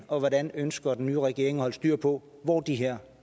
og hvordan ønsker den nye regering at holde styr på hvor de her